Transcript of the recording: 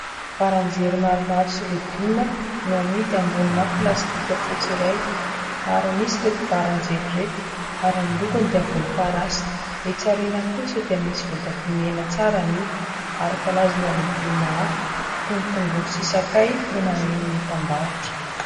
Baranjely maromaro sy legioma no amidy ambonina plastika fotsy iray. Maro an'isa ireto baranjely ireto ary ny lokony dia volomparasy. Etsy aoriana kosa dia misy voatabia mena tsara amidy ary karazana legioma hafa toy ny : tongolo sy sakay no mameno ny etam-barotra.